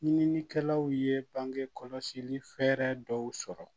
Ɲininikɛlaw ye bange kɔlɔsi fɛɛrɛ dɔw sɔrɔ